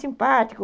Simpático.